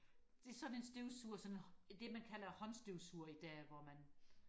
det er sådan en støvsuger sådan en hånd det man kalder håndstøvsuger i dag hvor man